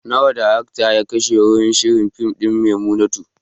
Nawa daraktan ya kashe wurin shirya fim ɗin "Maimunatu"?